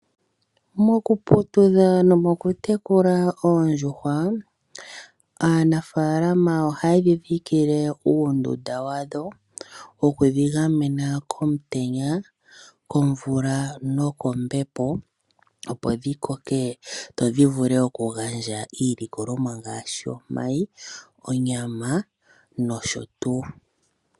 Moku putudha nomoku tekula oondjuhwa, aanafaalama ohaye dhidhikile uundunda wadho woku dhigamena komutenya, komvula nokombepo opo dhikoke dhivule okugandja iilikolomwa ngaashi onyama, omayi nosho tuu.